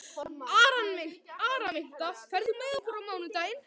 Araminta, ferð þú með okkur á mánudaginn?